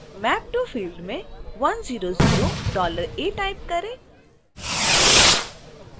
map to field में 100$a type करें